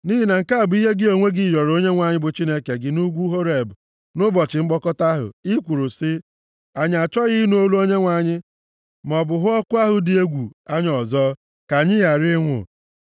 Nʼihi na nke a bụ ihe gị onwe gị rịọrọ Onyenwe anyị bụ Chineke gị nʼugwu Horeb, nʼụbọchị mkpokọta ahụ. I kwuru sị, “Anyị achọghị ịnụ olu Onyenwe anyị maọbụ hụ ọkụ ahụ dị egwu anya ọzọ, ka anyị ghara ịnwụ.”